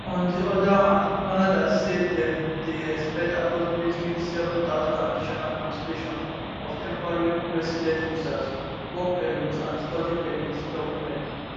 on di oda hand canada say dem dey expect approximately 7000 additional cancellations of temporary resident visas work permits and study permit documents